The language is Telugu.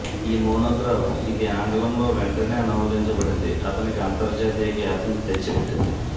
ఈ మోనోగ్రాఫ్ ఇది ఆంగ్లంలో వెంటనే అనువదించబడింది అతనికి అంతర్జాతీయ ఖ్యాతిని తెచ్చిపెట్టింది